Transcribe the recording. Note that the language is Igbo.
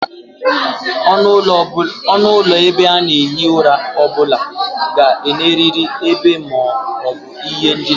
Onu ulo ebe a na-ehi ura o bula ga-eneriri ebe ma o bu ihe ndina